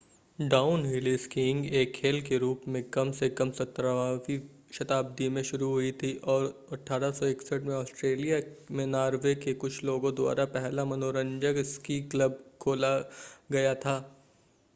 downhill skiing एक खेल के रूप में कम से कम 17 वीं शताब्दी में शुरु हुई थी और 1861 में ऑस्ट्रेलिया में नॉर्वे के लोगों द्वारा पहला मनोरंजक स्की क्लब खोला गया था